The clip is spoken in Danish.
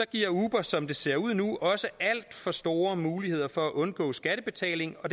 giver uber som det ser ud nu også alt for store muligheder for at undgå skattebetaling og